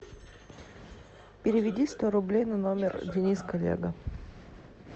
переведи сто рублей на номер денис коллега